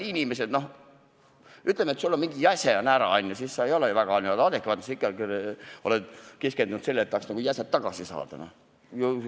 No ütleme, et sul on üks jäse ära – sellises olukorras ei ole sa ju väga adekvaatne, sa oled keskendunud ikkagi sellele, et tahaks jäseme tagasi saada.